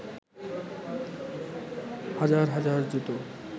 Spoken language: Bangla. হাজার হাজার জুতো